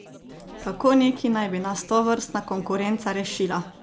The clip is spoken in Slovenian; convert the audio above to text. Kako neki naj bi nas tovrstna konkurenca rešila?